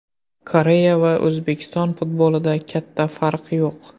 Koreya va O‘zbekiston futbolida katta farq yo‘q.